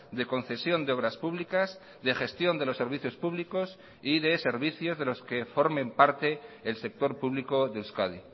de concesión de obras públicas de gestión de los servicios públicos y de servicios de los que formen parte el sector público de euskadi